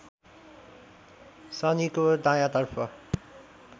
शनिको दायाँतर्फ